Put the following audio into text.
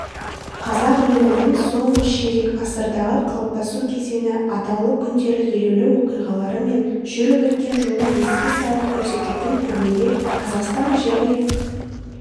қазақ елінің соңғы ширек ғасырдағы қалыптасу кезеңі атаулы күндері елеулі оқиғалары мен жүріп өткен жолын еске салып көрсететін көрмеге қазақстан және